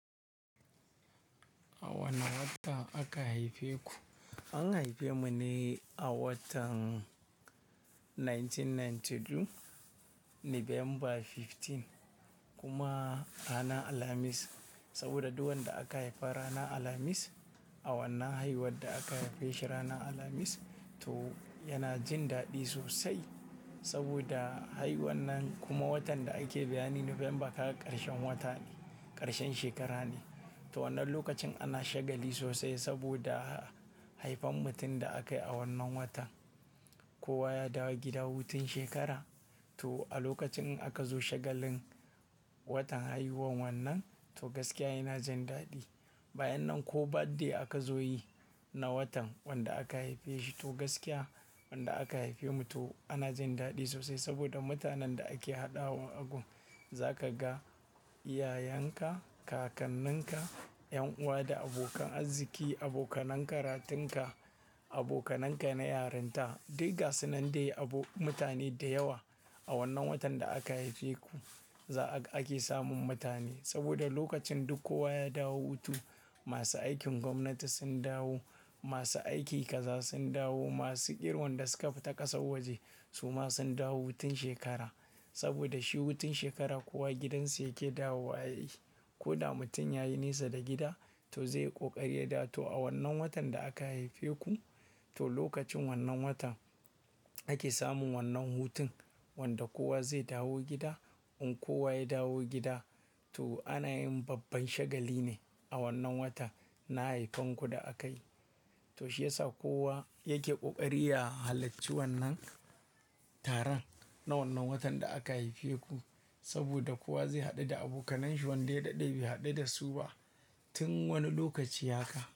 A wane wata aka haife ku? An haife mu ne, a watan dubu ɗaya da ɗari tara da casa'in da biyu, November goma sha biyar kuma ranar Alhamis. Saboda duk wanda aka haifa ranar Alhamis, awannaan haihuwar da aka haife shi ranar Alhamis, to yana jin daɗi sosai. Saboda, haiwuwan nan kuma watan da ake bayani November aka ƙarshen wata ne, ƙarshen shekara ne. To wannan lokacin ana shagali sosai saboda, haifan mutum da akayi a wannan watan. Kowa ya dawo gida hutun shekara, to a lokacin in aka zo shagalin, watan haihuwan wannan to gaskiya yana jin daɗi. Bayan nan ko birthday aka zo yi, na watan wanda aka haife shi to gaskiya, wanda aka haife mu to, ana jin daɗi sosai saboda mutanen da ake haɗawa agun. Za ka ga iyayenka, kakanninka, 'yan'uwa da abokan arziki, abokanen karatunka, abokananka na yaranta. Dukka sunan dai abu mutane da yawa, a wannan watan da aka haife ku, za a ake samun mutane. Saboda lokacin duk kowa ya dawo hutu, masu aikin gwamnati sun dawo, masu aiki kaza sun dawo, masu ƙirwan da suka fita ƙasar waje, su ma sun dawo hutun shekara. Saboda shi hutun shekara kowa gidansa yake dawo ayi. Ko da mutum yayi nesa da gida, to zai ƙoƙari ya dawo. To a wannan watan da aka haife ku, to lokacin wannan watan, ake samun wannan hutun wanda kowa zai dawo gida, In kowa ya dawo gida, to ana yin babban shagali ne, a wannan wata, na haifan ku da akayi. To shi yasa kowa, yake ƙoƙari ya halacci wannan, taron na wannan watan da aka haife ku. Saboda kowa zai haɗu da abokananshi wanda ya daɗe bai haɗu da su ba, tun wani lokaci haka.